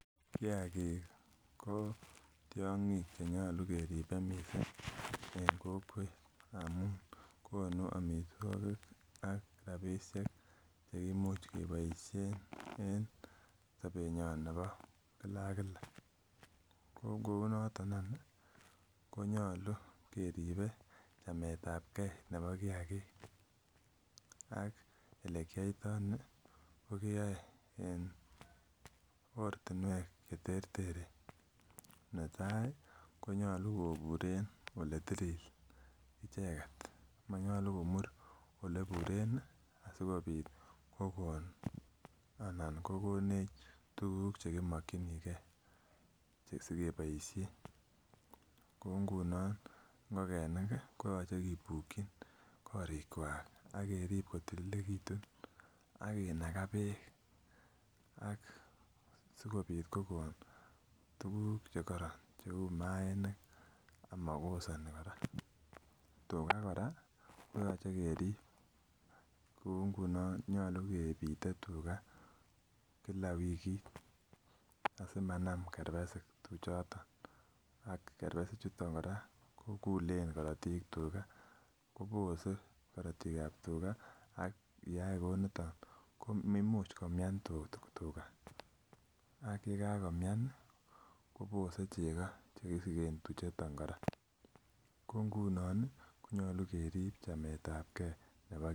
Kiagik ko tiong'ik chenyolu keribe missing en kokwet amun konu amitwogik ak rapisiek chekimuch keboisien en sobetnyon nebo kila ak kila ko kounoton any ih konyolu keribe chametabgee nebo kiagik ak elekiyoitoo ni ko keyoe en ortinwek cheterteren netai konyolu koburen eletilil icheket monyolu komur eleburen ih asikobit kokon anan kokonech tuguk chekimokyingee asikeboisien, kou ngunon ngokenik ih koyoche kibukyin korik kwak ak kerib kotililekitun ak kinaga beek ak sikobit kokon tuguk chekoron cheu maaniik amokosoni kora tuga kora koyoche kerib kou ngunon nyolu kebite tuga kila wikit asimanam kerbesik tuchaton ak kerbesik chuton kora kokulen korotik tuga kobose korotik ab tuga ak yeyai kouniton ko imuch komian tuga ak yekakomian ih kobose chego chekisigen tuchuton kora ko ngunon ih konyolu kerib chametabgee nebo